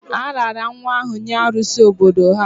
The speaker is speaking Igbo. A raara nwa ahụ nye arụsi obodo ha